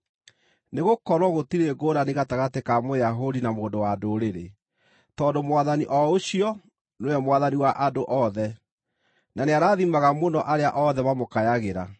Nĩgũkorwo gũtirĩ ngũũrani gatagatĩ ka Mũyahudi na mũndũ-wa-Ndũrĩrĩ: tondũ Mwathani o ũcio nĩwe Mwathani wa andũ othe, na nĩarathimaga mũno arĩa othe mamũkayagĩra;